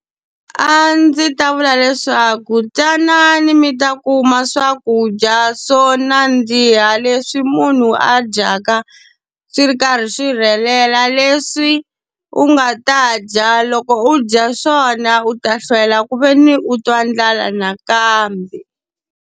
A ndzi ta vula leswaku tanani mi ta kuma swakudya swo nandziha leswi munhu a dyaka swi ri karhi swi rhelela, leswi u nga ta dya loko u dya swona u ta hlwela ku ve ni u twa ndlala nakambe